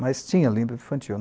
Mas tinha, livro de infantil.